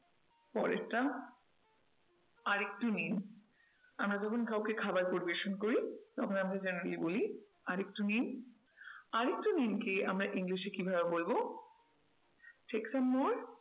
পরেরটা আর একটু নিন আমরা যখন কাউকে খাবার পরিবেশন করি তখন আমরা genially বলি আর একটু নিন, আর একটু নিন কে আমরা english এ কিভাবে বলবো? take some more